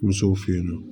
Musow fe yen nɔ